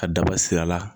Ka daba siri a la